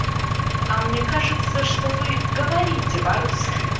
а мне кажется что вы говорите по-русски